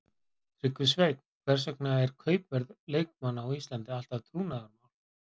Tryggvi Sveinn Hvers vegna er kaupverð leikmanna á Íslandi alltaf trúnaðarmál.